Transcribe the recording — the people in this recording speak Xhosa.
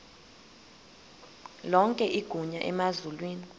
lonke igunya emazulwini